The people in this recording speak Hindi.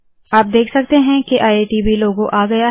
आप देख सकते है के आईआईटीबी लोगो आ गया है